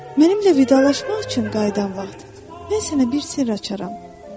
Mənimlə vidalaşmaq üçün qayıdan vaxt, mən sənə bir sirr açaram.